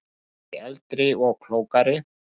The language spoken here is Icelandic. Ég er kannski eldri og klókari.